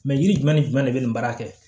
Mɛ yiri jumɛn ni jumɛn de bɛ nin baara kɛ